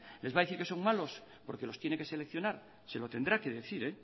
les va a decir que son malos porque los tiene que seleccionar se lo tendrá que decir